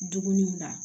Dumuniw na